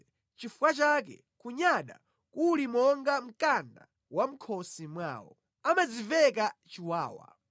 Nʼchifukwa chake kunyada kuli monga mkanda wa mʼkhosi mwawo; amadziveka chiwawa.